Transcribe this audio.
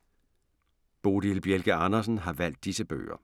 Bodil Bjelke Andersen har valgt disse bøger